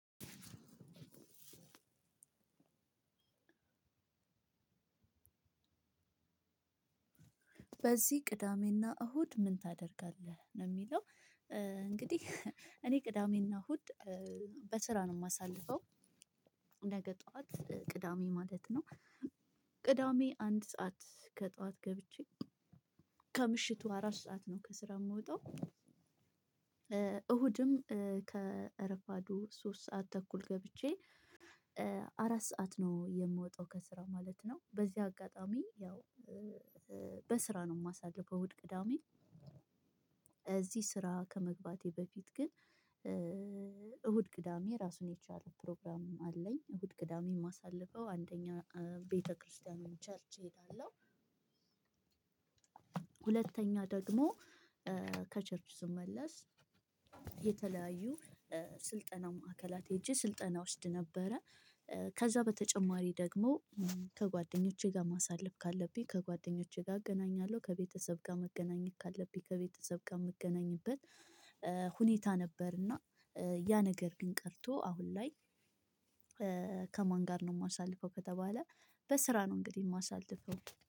በዚህ ቅዳሜና እሁድ ምን ታደርጋለህ ነው የሚለው? እንግዲህ እኔ ቅዳሜና እሁድ በስራ ነው የማሳልፈው። ነገ ጠዋት ቅዳሜ ማለት ነው። ቅዳሜ አንድ ሰዓት ከጠዋት ገብቼ ከምሽቱ አራት ሰዓት ነው ከስራ የምወጣው። እሁድም ከረፋዱ ሶስት ሰዓት ተኩል ገብቼ አራት ሰዓት ነው የምወጣው ከስራ ማለት ነው። በዚህ አጋጣሚ ያው በስራ ነው የማሳልፈው። እሁድ ቅዳሜ እዚህ ስራ ከመግባቴ በፊት ግን እሁድ ቅዳሜ ራሱን የቻለ ፕሮግራም አለኝ። እሁድ ቅዳሜ የማሳልፈው አንደኛ ቤተክርስቲያን ቸርች እሄዳለሁ። ሁለተኛ ደግሞ ከቸርች ስመለስ የተለያዩ ስልጠና ማዕከላት ሄጄ ስልጠና እወስድ ነበረ። ከዛ በተጨማሪ ደግሞ ከጓደኞቼ ጋር ማሳለፍ ካለብኝ ከጓደኞቼ ጋር እገናኛለሁ። ከቤተሰብ ጋር መገናኘት ካለብኝ ከቤተሰብ ጋር የምገናኝበት ሁኔታ ነበር። እና ያ ነገር ግን ቀርቶ አሁን ላይ። ከማን ጋር ነው የማሳልፈው ከተባለ? በስራ ነው እንግዲህ የማሳልፈው